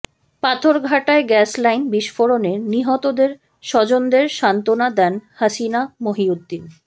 পাথরঘাটায় gas line বিস্ফোরণে নিহতদের স্বজনদের সান্ত্বনা দেন হাসিনা মহিউদ্দিন